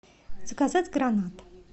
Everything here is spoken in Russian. заказать гранат